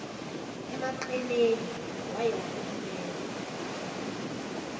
emaqeleni waye waphumela